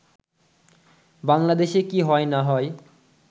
“বাংলাদেশে কি হয় না হয়